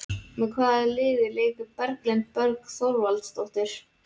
Með hvaða liði leikur Berglind Björg Þorvaldsdóttir?